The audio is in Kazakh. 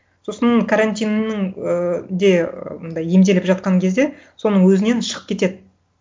сосын карантиннің ыыы де мындай емделіп жатқан кезде соның өзінен шығып кетеді